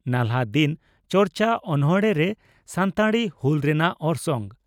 ᱱᱟᱞᱦᱟᱼᱫᱤᱱ ᱪᱟᱨᱪᱟ ᱚᱱᱚᱬᱦᱮ ᱨᱮ ᱥᱟᱱᱛᱟᱲᱤ ᱦᱩᱞ ᱨᱮᱱᱟᱜ ᱚᱨᱥᱚᱝ